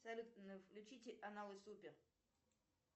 салют включите каналы супер